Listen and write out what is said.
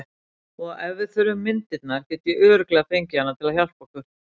Og ef við þurfum myndirnar get ég örugglega fengið hana til að hjálpa okkur.